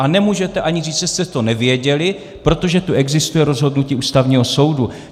A nemůžete ani říct, že jste to nevěděli, protože tu existuje rozhodnutí Ústavního soudu.